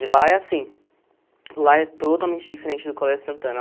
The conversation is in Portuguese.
E lá é assim, lá é totalmente diferente do Colégio Santana.